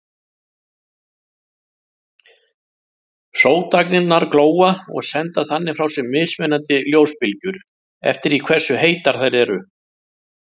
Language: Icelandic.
Sótagnirnar glóa og senda þannig frá sér mismunandi ljósbylgjur eftir því hversu heitar þær eru.